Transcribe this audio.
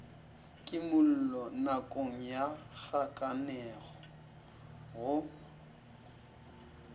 kimollo nakong ya kgakanego go